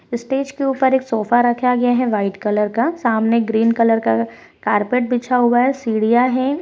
Stage के ऊपर एक सोफा रखा गया है वाइट कलर का सामने ग्रीन कलर का कारपेट बिछा हुआ है सीढिया है।